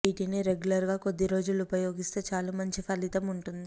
వీటిని రెగ్యులర్ గా కొద్దిరోజులు ఉపయోగిస్తే చాలు మంచి ఫలితం ఉంటుంది